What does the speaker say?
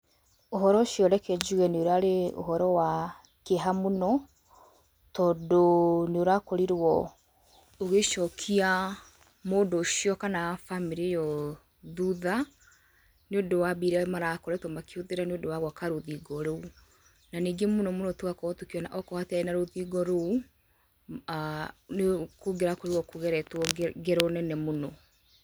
Ũhoro ũcio reke njuge nĩ ũrarĩ ũhoro wa kĩeha mũno tondũ nĩ ũrakorirwo ũgĩcokia mũndũ ũcio kana famĩlĩ ĩyo thutha, nĩ ũndũ wa mbia irĩa marakoretwo makĩhũthira nĩ ũndũ wa gwaka rũthingo rũu. Na ningĩ mũno mũno tũgakorwo tũkĩona okorwo hatirarĩ na rũthingo rũu, nĩ kũngĩrakorirwo kũgeretwo ngero nene mũno.